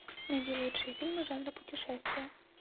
найди лучшие фильмы жанра путешествия